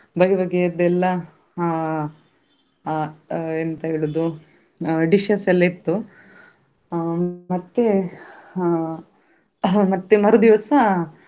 ಬಗೆ ಬಗೆ ಅದ್ದು ಎಲ್ಲ ಆ ಆ ಎಂತ ಹೇಳುದು dishes ಎಲ್ಲ ಇತ್ತು ಅಹ್ ಮತ್ತೆ ಹಾ ಮತ್ತೆ ಮರುದಿವ್ಸ.